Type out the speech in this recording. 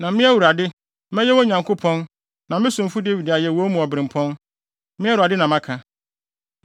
Na me, Awurade, mɛyɛ wɔn Nyankopɔn na me somfo Dawid ayɛ wɔn mu obirɛmpɔn. Me Awurade na maka.